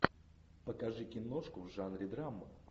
покажи киношку в жанре драма